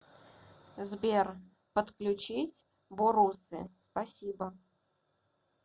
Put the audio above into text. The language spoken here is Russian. сбер подключить борусы спасибо